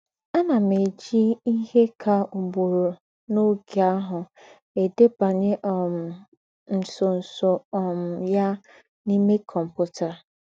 “ Ànà m éjì íhe kà ùgbùrù n’ógè àhụ̀ èdèbanyè um ńsọ̀nsọ̀ um ya n’íme kọ́mputà. ”